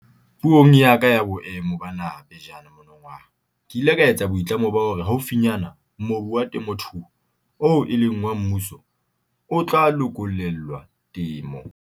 Puong ya ka ya Boemo ba Naha pejana monongwaha ke ile ka etsa boitlamo ba hore haufinyane mobu wa temothuo oo e leng wa mmuso o tla lokollelwa temo.